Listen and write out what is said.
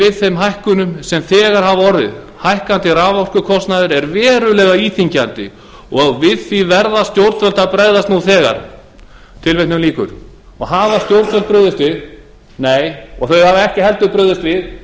við þeim hækkunum sem þegar hafa orðið hækkandi raforkukostnaður er verulega íþyngjandi og við því verða stjórnvöld að bregðast nú þegar hafa stjórnvöld brugðist við nei þau hafa ekki heldur brugðist við